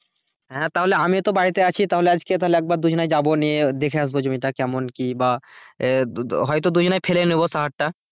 হ্যাঁ তাহলে আমি তো বাড়িতেই আছি তাহলে আজকে একবার দুজনাই যাবো নিয়ে দেখে নেবো জমিটা কেমন কি বা হয়তো দুজনে ফেলে নেবো সাহারটা,